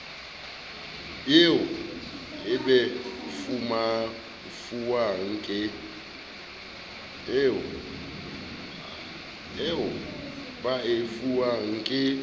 eo ba e fuwang ke